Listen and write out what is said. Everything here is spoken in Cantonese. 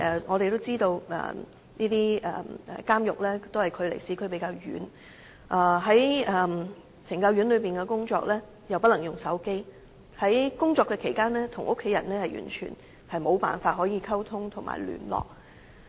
我們也知道監獄與市區的距離較遠，而且在懲教院所內工作又不可以使用手機，所以在工作期間與家人完全無法溝通、聯絡。